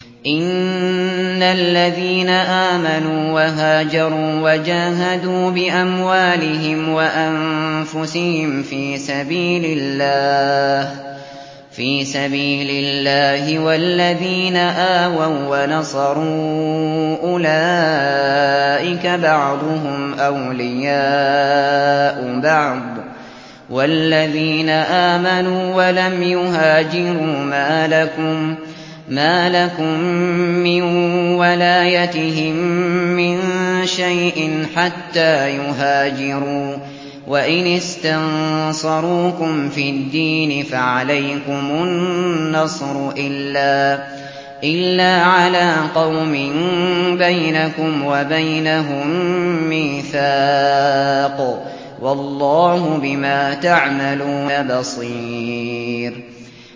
إِنَّ الَّذِينَ آمَنُوا وَهَاجَرُوا وَجَاهَدُوا بِأَمْوَالِهِمْ وَأَنفُسِهِمْ فِي سَبِيلِ اللَّهِ وَالَّذِينَ آوَوا وَّنَصَرُوا أُولَٰئِكَ بَعْضُهُمْ أَوْلِيَاءُ بَعْضٍ ۚ وَالَّذِينَ آمَنُوا وَلَمْ يُهَاجِرُوا مَا لَكُم مِّن وَلَايَتِهِم مِّن شَيْءٍ حَتَّىٰ يُهَاجِرُوا ۚ وَإِنِ اسْتَنصَرُوكُمْ فِي الدِّينِ فَعَلَيْكُمُ النَّصْرُ إِلَّا عَلَىٰ قَوْمٍ بَيْنَكُمْ وَبَيْنَهُم مِّيثَاقٌ ۗ وَاللَّهُ بِمَا تَعْمَلُونَ بَصِيرٌ